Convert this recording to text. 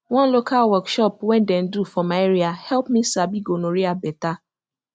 one local workshop when them do for my area help me sabi gonorrhea better